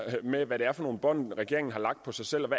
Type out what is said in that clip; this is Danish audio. med hvad det er for nogle bånd regeringen har lagt på sig selv og